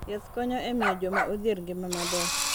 Yath konyo e miyo joma odhier ngima maber.